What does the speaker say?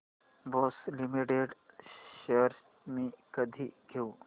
Bosch limited shares मी कधी घेऊ